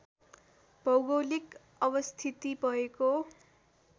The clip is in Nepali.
भौगोलिक अवस्थिति भएको